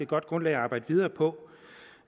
godt grundlag at arbejde videre på